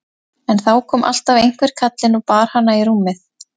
En þá kom alltaf einhver kallinn og bar hana í rúmið.